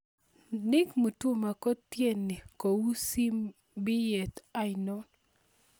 Nick Mutuma kookteni kou sibityet ainon